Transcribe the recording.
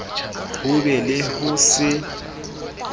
ho be le ho se